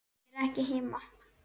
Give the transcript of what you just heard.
Ég er ekki heima